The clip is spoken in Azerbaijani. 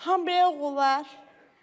Tam bəyə olar.